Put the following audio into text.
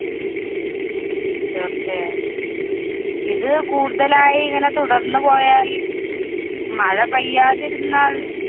തീര്‍ച്ചയായും, ഇത് കൂടുതലായി ഇങ്ങനെ തുടര്‍ന്നു പോയാല്‍, മഴ പെയ്യാതിരുന്നാല്‍